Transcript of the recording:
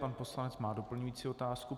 Pan poslanec má doplňující otázku.